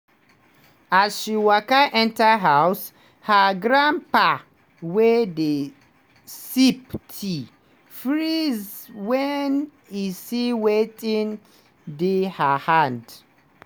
as she waka enter house her grandpa wey dey sip tea freeze wen e see wetin dey her hand.